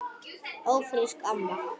Ófrísk, amma!